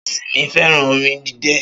Ṣọ́ọ̀ṣì mi fẹ́ràn orin idẹ